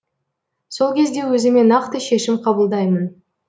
сол кезде өзіме нақты шешім қабылдаймын